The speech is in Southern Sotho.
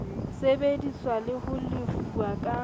sebeditswe le ho lefuwa ka